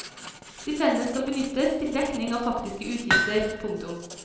Stipendet skal benyttes til dekning av faktiske utgifter. punktum